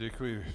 Děkuji.